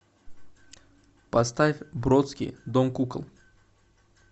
поставь бродский дом кукол